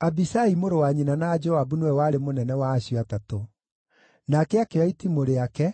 Abishai mũrũ wa nyina na Joabu nĩwe warĩ mũnene wa acio Atatũ. Nake akĩoya itimũ rĩake,